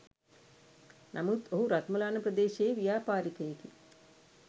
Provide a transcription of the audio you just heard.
නමුත් ඔහු රත්මලාන ප්‍රදේශයේ ව්‍යාපාරිකයෙකි.